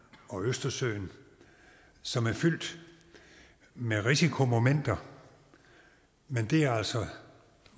og østersøen som er fyldt med risikomomenter men det er altså